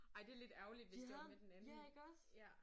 Ej det lidt ærgerligt hvis det var med den anden ja